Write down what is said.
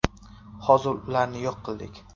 Hozir ularni yo‘q qildik.